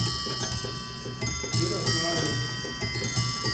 ярославле